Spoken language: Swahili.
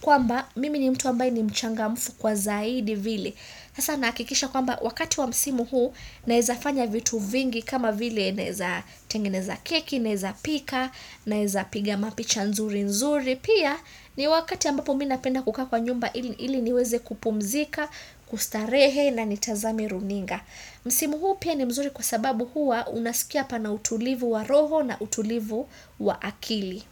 kwamba mimi ni mtu ambaye ni mchanga mfu kwa zaidi vile hasa nahakikisha kwamba wakati wa msimu huu naeza fanya vitu vingi kama vile naeza tengeneza keki, naeza pika, naeza piga mapicha nzuri nzuri Pia ni wakati ambapo mina penda kukaa kwa nyumba ili niweze kupumzika, kustarehe na nitazame runinga Msimu huu pia ni mzuri kwa sababu huwa unasikia pana utulivu wa roho na utulivu wa akili.